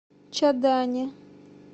чадане